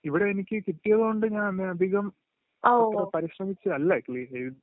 ഇവിടെയെനിക്ക് കിട്ടിയോണ്ട് അത്രയധികം പരിശ്രമിച്ചല്ല ക്‌ളീ എഴുതിയത്.